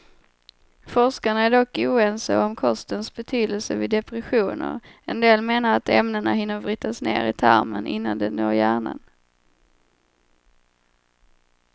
Forskarna är dock oense om kostens betydelse vid depressioner, en del menar att ämnena hinner brytas ner i tarmen innan de når hjärnan.